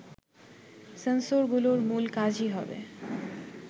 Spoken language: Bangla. সেন্সরগুলোর মূল কাজই হবে